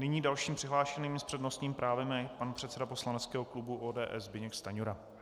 Nyní dalším přihlášeným s přednostním právem je pan předseda poslaneckého klubu ODS Zbyněk Stanjura.